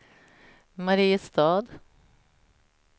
Mariestad